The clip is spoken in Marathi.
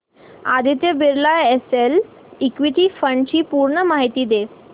Aditya Birla SL equity fund D ची पूर्ण माहिती दे